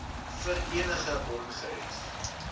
vir enige ongerief